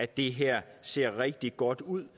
det her ser rigtig godt ud